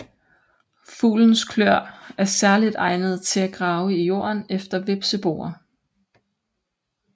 Fuglens kløer er særligt egnede til at grave i jorden efter hvepseboer